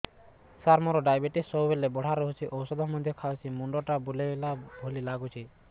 ସାର ମୋର ଡାଏବେଟିସ ସବୁବେଳ ବଢ଼ା ରହୁଛି ଔଷଧ ମଧ୍ୟ ଖାଉଛି ମୁଣ୍ଡ ଟା ବୁଲାଇବା ଭଳି ଲାଗୁଛି